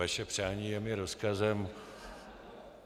Vaše přání je mi rozkazem.